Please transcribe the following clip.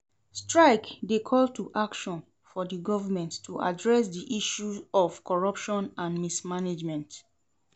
Strike dey call to action for di government to address di issues of corruption and mismanagement.